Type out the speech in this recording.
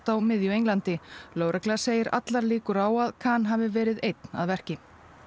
á miðju Englandi lögregla segir allar líkur á að Khan hafi verið einn að verki